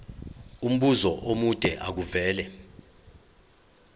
umbuzo omude makuvele